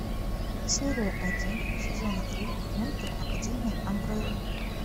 серия один сезона три мульта академия амбрелла